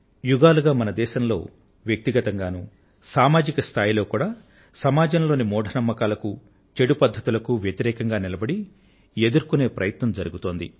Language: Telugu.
యుగాలుగా మన దేశంలో వ్యక్తిగతంగా సామాజిక స్థాయిలోనూ సామాజంలోని మూఢ నమ్మకాలకు చెడు పద్ధతులకు వ్యతిరేకంగా నిలబడి ఎదుర్కొనే ప్రయత్నం జరుగుతోంది